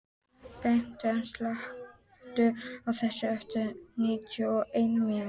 Beinteinn, slökktu á þessu eftir níutíu og eina mínútur.